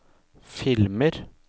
filmer